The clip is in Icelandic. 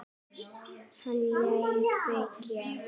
Hann lét byggja